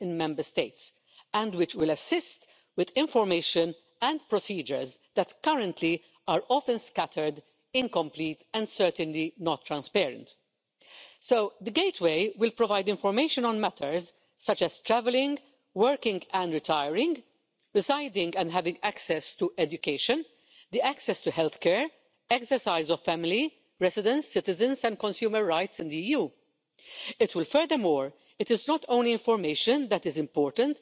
of confusing rules, complex procedures and endless paperwork. A survey has shown that more than 80 of businesses see administrative complexity as the number one problem for them in the single market, and this is exactly the problem we want to address with this regulation establishing a single digital gateway. Let me go through the three points that I think are the most important.